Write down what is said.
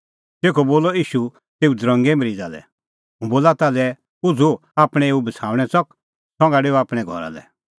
तेखअ बोलअ ईशू तेऊ दरंगे मरीज़ा लै हुंह बोला ताल्है उझ़ू आपणैं एऊ बछ़ाऊणैं च़क संघा डेऊ आपणैं घरा लै